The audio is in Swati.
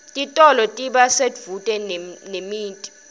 titolo tiba sedvute nemiti